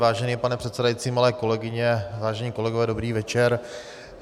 Vážený pane předsedající, milé kolegyně, vážení kolegové, dobrý večer.